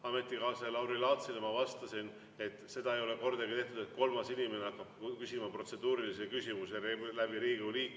Ametikaaslasele Lauri Laatsile ma vastasin, et seda ei ole kordagi tehtud, et kolmas inimene hakkab küsima protseduurilisi küsimusi Riigikogu liikme vahendusel.